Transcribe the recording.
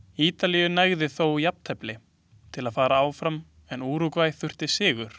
Ítalíu nægði þó jafntefli til að fara áfram en Úrúgvæ þurfti sigur.